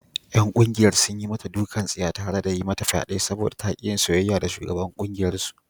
’Yan kungiyar sun yi mata dukan tsiya tare da yi mata fyade saboda ta ki yin soyayya da shugaban kungiyarsu.